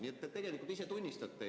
Nii et tegelikult te ise tunnistate seda.